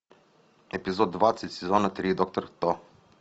эпизод двадцать сезона три доктор кто